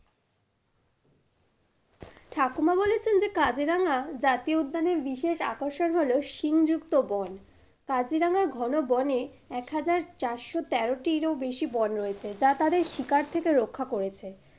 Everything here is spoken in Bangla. ঠাকুমা বলেছেন যে কাজিরাঙা জাতীয় উদ্যানের বিশেষ আকর্ষণ হলো শিং যুক্ত বন। কাজিরাঙার ঘনো বনে এক হাজার চারশো তেরোটির ও বেশী বন রয়েছে যা তাদের শিকার থেকে রক্ষা করেছে।